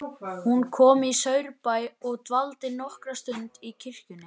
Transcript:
Hún kom í Saurbæ og dvaldi nokkra stund í kirkjunni.